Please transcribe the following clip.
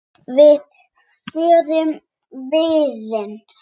Þið földuð vopnin.